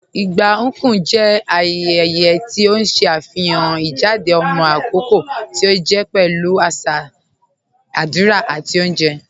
Igba Nkwu jẹ ayẹyẹ̀ ti o ṣe afihàn ijádẹ̀ ọmọ akọkọ̀ ti o jẹ pẹ̀lú aṣa aṣa, adúrà, àti ọ̀unjẹ́.